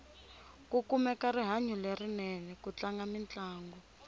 ku kumeka rihanyu lerinene ku tlanga mintlangu